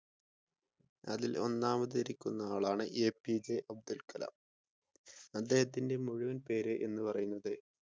അതിൽ ഒന്നാമത് ഇരിക്കുന്ന ആളാണ് എപിജെ അബ്ദുൽ കലാം അദ്ദേഹത്തിന്റെ മുഴുവൻ പേര് എന്ന് പറയുന്നത്